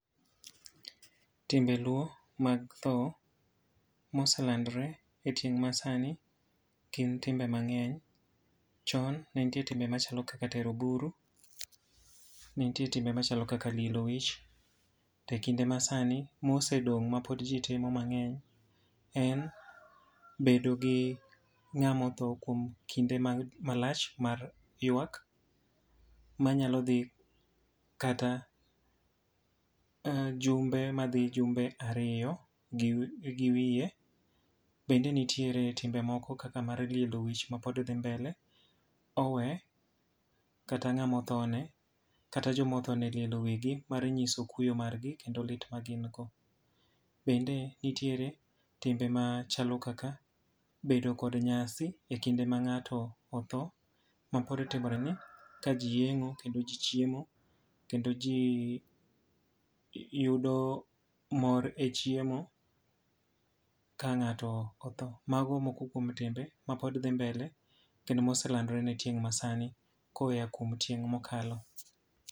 Timbe luo mag tho ma oselandore e tieng' masani, gin timbe mangény. Chon ne nitiere timbe machalo kaka tero buru, ne nitie timbe machalo kaka lielo wich. To e kinde masani mosedong' ma pod ji timo mangény, en bedo gi ngáma otho kuom kinde malach mar ywak, manyalo dhi kata um jumbe madhi jumbe ariyo gi gi wiye. Bende nitiere timbe moko kaka mar lielo wich ma pod dhi mbele. Owe kata ngáma otho ne, kata joma otho ne lielo wigi mar nyiso kuyo margi, kendo lit ma gin go. Bende nitiere timbe machalo kaka bedo kod nyasi e kinde ma ngáto otho ma pod timore ni. Ka ji yiengó, kendo ji chiemo, kendo ji yudo mor e chiemo, ka ngáto otho. Mago moko kuom timbe mapod dhi mbele kendo moselandore ne tieng' masani, koya kuom tieng' mokalo.